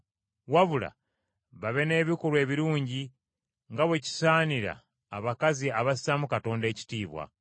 Wabula babe n’ebikolwa ebirungi, nga bwe kisaanira abakazi abassaamu Katonda ekitiibwa.